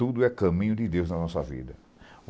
Tudo é caminho de Deus na nossa vida.